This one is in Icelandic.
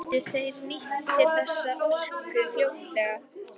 Gætu þeir nýtt sér þessa orku fljótlega?